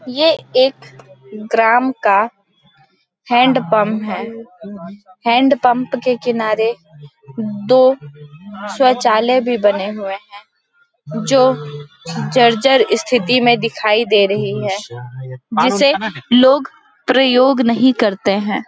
ये एक ग्राम का हैंडपंप है। हैंडपंप के किनारे दो शौचालय भी बने हुए है जो जर -जर ईस्थिति में दिखाई दे रही है जिसे लोग प्रयोग नहीं करते है।